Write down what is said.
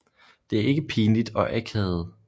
Det er ikke pinligt og akavet